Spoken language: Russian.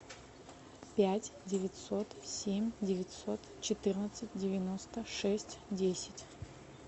пять девятьсот семь девятьсот четырнадцать девяносто шесть десять